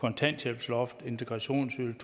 kontanthjælpsloft integrationsydelse